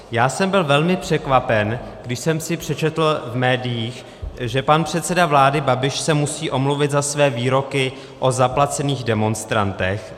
Já jsem byl velmi překvapen, když jsem si přečetl v médiích, že pan předseda vlády Babiš se musí omluvit za své výroky o zaplacených demonstrantech.